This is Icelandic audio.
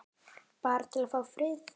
Bara til að fá frið.